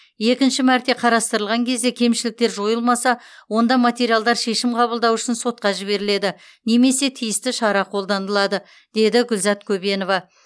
екінші мәрте қарастырылған кезде кемшіліктер жойылмаса онда материалдар шешім қабылдау үшін сотқа жіберіледі немесе тиісті шара қолданылады деді гүлзат көбенова